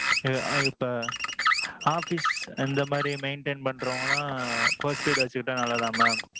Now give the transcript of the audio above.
ஆ ஆ இப்போ. office இந்த மாதிரி maintain பண்ணறவங்க எல்லாம் postpaid வச்சுகிட்டா நல்லதா mam?